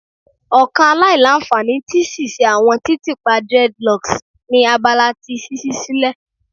Ọkan alailanfani ti ṣiṣe awọn titiipa dreadlocks ni abala ti ṣiṣi silẹ